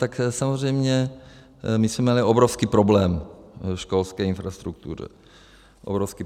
Tak samozřejmě my jsme měli obrovský problém ve školské infrastruktuře.